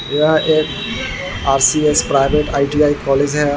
यह एक RCS. Private ITI. College है।